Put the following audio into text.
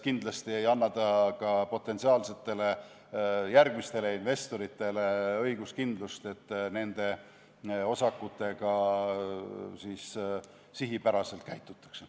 Kindlasti ei anna see ka potentsiaalsetele investoritele õiguskindlust, et nende osakutega sihipäraselt käitutakse.